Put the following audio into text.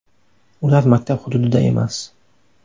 Ular maktab hududida emas.